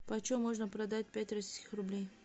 почем можно продать пять российских рублей